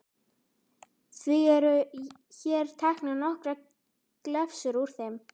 Því eru hér teknar nokkrar glefsur úr þeim